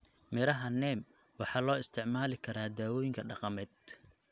Miraha Neem waxaa loo isticmaali karaa dawooyinka dhaqameed.